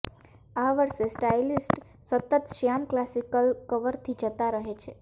આ વર્ષે સ્ટાઈલિસ્ટ સતત શ્યામ ક્લાસિકલ કવરથી જતા રહે છે